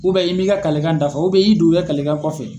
i m'i ka kalekan dafa i y'i dogo i ka kalekan kɔfɛ.